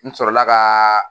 N sɔrɔla ka